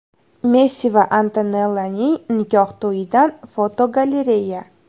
Messi va Antonellaning nikoh to‘yidan fotogalereya.